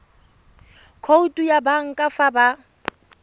khoutu ya banka fa ba